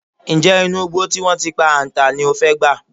Ǹjé̩ inú igbó tí wó̩n ti pa àǹtà ní o fé̩ gbà?